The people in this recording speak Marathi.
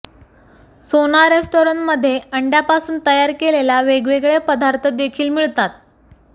सोना रेस्तराँमध्ये अंड्यापासून तयार केलेल्या वेगवेगळे पदार्थ देखील मिळतात